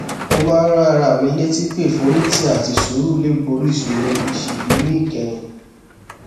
mo máa ń rán ara mi létí pé ìforítì àti sùúrù lè borí ìṣòro ìṣèlú níkẹyìn